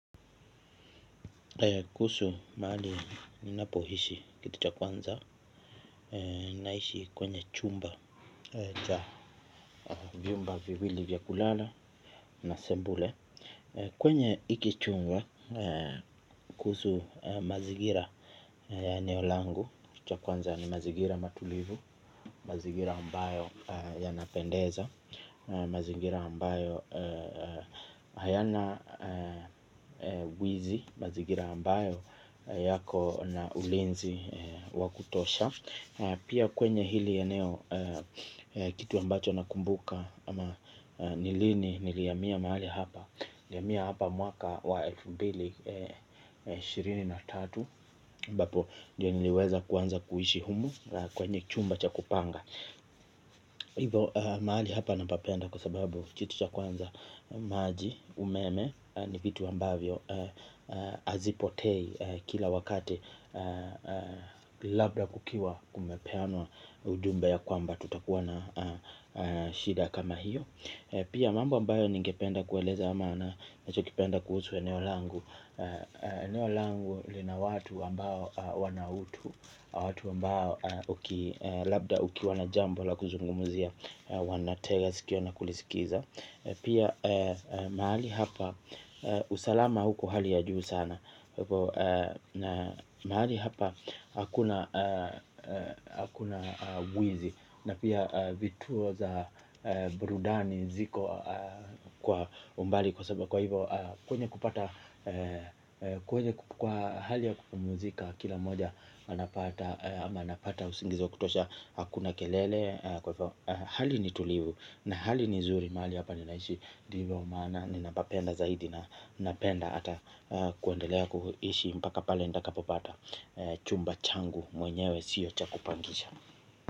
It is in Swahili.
Kuhusu mahali ninapohishi kitu cha kwanza naishi kwenye chumba cha vyumba viwili vya kulala na sebule. Kwenye iki chumba kuhusu mazingira ya eneo langu cha kwanza ni mazigira matulivu, mazingira ambayo ya napendeza. Mazingira ambayo hayana Wizi. Mazingira ambayo yako na ulinzi Wakutosha. Pia kwenye hili eneo. Kitu ambacho nakumbuka ama ni lini nilihamia mahali hapa niliyamia hapa mwaka wa elfu mbili na ishirini na tatu ambapo ndio niliweza kuanza kuishi humu. Kwenye chumba cha kupanga. Hivyo mahali hapa napapenda. Kwa sababu kitucha kwanza maji umeme ni vitu ambavyo azipotei kila wakati labda kukiwa kumepeanwa ujumbe ya kwamba tutakuwa na shida kama hiyo. Pia mambo ambayo ningependa kueleza ama ninachokipenda kuhusu eneo langu eneo langu lina watu ambao wana utu watu ambao labda ukiwa na kitu cha kuzungumzia wanatega sikio na kulisikiza. Pia mahali hapa usalama uko hali ya juu sana na mahali hapa hakuna hakuna wizi na pia vituo za burudani ziko kwa umbali kwa saba kwa hivyo kwenye kupata kwenye kwa hali ya kupamuzika kila mmoja anapata usingizi wa kutosha hakuna kelele kwa hivyo hali ni tulivu na hali ni zuri mahali hapa ninaishi ndiivyo maana nina papenda zaidi na napenda ata kuendelea kuishi mpaka pale ntakapo pata chumba changu mwenyewe siyo cha kupangisha.